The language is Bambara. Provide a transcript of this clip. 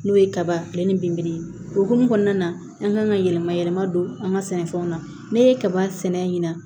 N'o ye kaba fiyɛ ni binburu hukumu kɔnɔna na an kan ka yɛlɛma yɛlɛma don an ka sɛnɛfɛnw na ne ye kaba sɛnɛ ɲina